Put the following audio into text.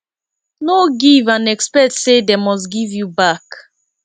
no give and expect say dem must give you back